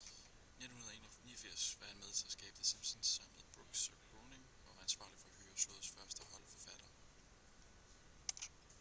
i 1989 var han med til at skabe the simpsons sammen med brooks og groening og var ansvarlig for at hyre showets første hold forfattere